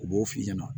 U b'o f'i ɲɛna